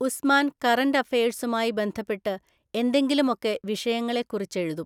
ഉസ്മാന്‍ current അഫയഴ്സുമായി ബന്ധപ്പെട്ട് എന്തെങ്കിലുമൊക്കെ വിഷയങ്ങളെക്കുറിച്ചെഴുതും.